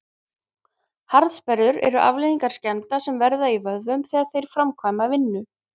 harðsperrur eru afleiðing skemmda sem verða í vöðvum þegar þeir framkvæma vinnu